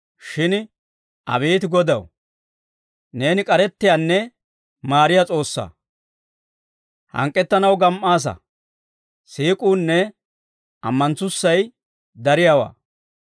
Shin abeet Godaw, neeni k'arettiyaanne maariyaa S'oossaa; hank'k'ettanaw gam"aasa; siik'uunne ammanettussay dariyaawaa.